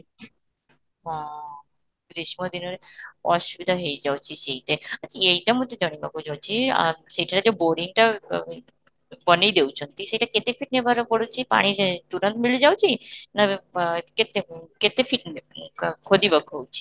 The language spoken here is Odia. ହଁ, ଗ୍ରୀଷ୍ମ ଦିନରେ ଅସୁବିଧା ହେଇ ଯାଉଛି, ସେଇଟା ଆଚ୍ଛା ଏଇଟା ମୋତେ ଯିବାକୁ ଯାଉଛି ଆଃ ସେଇଟାରେ ଯଉ boring ଟା ଆଃ ବନେଇ ଦେଉଛନ୍ତି, ସେଇଟା କେତେ feet ନେବାର ପଡୁଛି ପାଣି ଯାଇ ତୁରନ୍ତ ମିଳି ଯାଉଛି, ନା ଆଁ କେତେ କେତେ feet ଖୋଦିବାକୁ ହଉଛି?